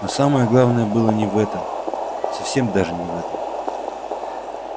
но самое главное было не в этом совсем даже не в этом